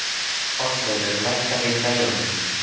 Oddleifur, lækkaðu í græjunum.